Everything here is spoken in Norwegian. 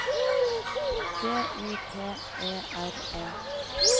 D Y P E R E